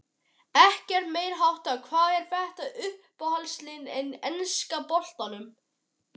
Ekkert meiriháttar Hvað er þitt uppáhaldslið í enska boltanum?